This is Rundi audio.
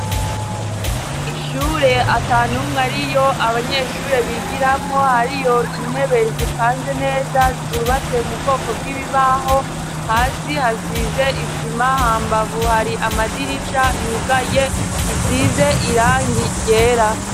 Ishure ata n'umwe ariyo abanyeshure bigiramwo, hariyo intebe zipanze neza, zubatse mu bwoko bw'ibibaho. Hasi hasize isima , hambavu hari amadirisha yugaye asize irangi ryera.